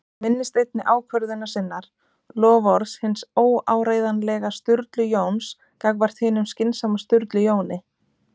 Hann minnist einnig ákvörðunar sinnar- loforðs hins óáreiðanlega Sturlu Jóns gagnvart hinum skynsama Sturlu Jóni